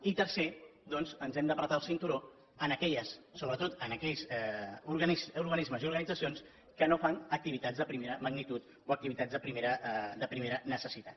i quart doncs ens hem de prémer el cinturó sobretot en aquells organismes i organitzacions que no fan activitats de primera magnitud o activitats de primera necessitat